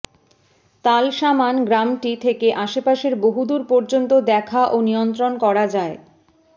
তাল সামান গ্রামটি থেকে আশপাশের বহুদূর পর্যন্ত দেখা ও নিয়ন্ত্রণ করা যায়